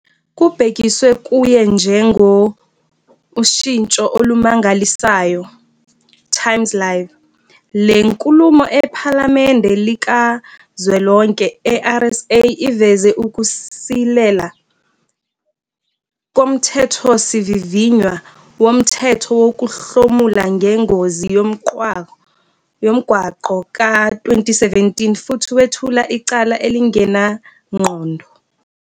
Kubhekiswe kuye njengo, "ushintsho olumangalisayo", Times Live, le nkulumo ePhalamende Likazwelonke e-RSA iveze ukusilela koMthethosivivinywa Womthetho Wokuhlomula Ngengozi Yomgwaqo, ka-2017 futhi wethula icala elingenangqondo.